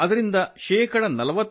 ಹಾಗೂ ಅದರಿಂದ ಶೇ